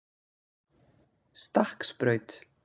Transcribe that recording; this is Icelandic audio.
Stakksbraut